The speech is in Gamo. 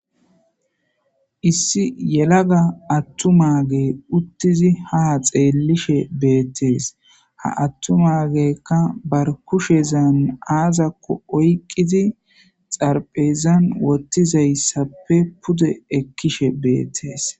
I ssi yelaga atuma utidi ha xellishe bettes ha atuma geyka barkushezan oykidi xaraphezan wothizaysi pude ekishe bettes